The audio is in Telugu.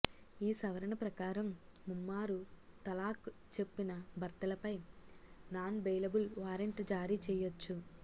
ఈ సవరణ ప్రకారం ముమ్మారు తలాక్ చెప్పిన భర్తలపై నాన్బెయిలబుల్ వారెంట్ జారీ చేయొచ్చు